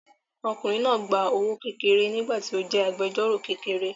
Ọkùnrin náà ń gba owó kékeré nígbà tí ó jẹ́ agbẹjọ́rọ̀ kékeré